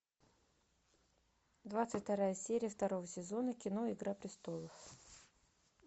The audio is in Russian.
двадцать вторая серия второго сезона кино игра престолов